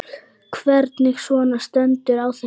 Hvernig svona stendur á þessu?